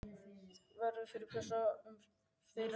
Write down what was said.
Verður fyrst fjallað um fyrra atriðið.